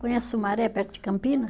Conhece Sumaré, perto de Campina?